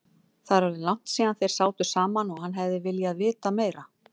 Það er orðið langt síðan þeir sátu saman og hann hefði viljað vita meira.